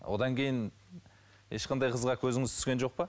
одан кейін ешқандай қызға көзіңіз түскен жоқ па